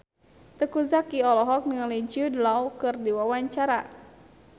Teuku Zacky olohok ningali Jude Law keur diwawancara